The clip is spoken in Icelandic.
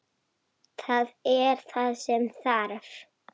Það er það sem þarf.